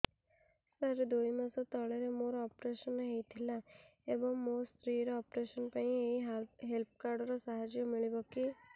ସାର ଦୁଇ ମାସ ତଳରେ ମୋର ଅପେରସନ ହୈ ଥିଲା ଏବେ ମୋ ସ୍ତ୍ରୀ ର ଅପେରସନ ପାଇଁ ଏହି ହେଲ୍ଥ କାର୍ଡ ର ସାହାଯ୍ୟ ମିଳିବ କି